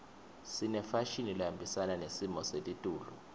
sinefashini lehambisana nesimo selitulu